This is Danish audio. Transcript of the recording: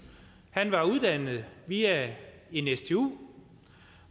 han var uddannet via en stu